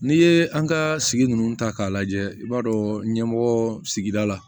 N'i ye an ka sigi ninnu ta k'a lajɛ i b'a dɔn ɲɛmɔgɔ sigida la